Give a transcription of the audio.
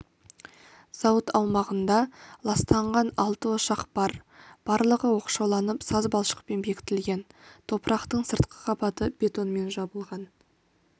зауыт аумағында ластанған алты ошақ бар барлығы оқшауланып саз балшықпен бекітілген топырақтың сыртқы қабаты бетонмен жабылған